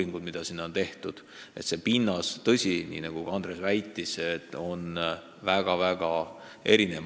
Nagu Andres juba ütles, pinnas on seal väga-väga erinev.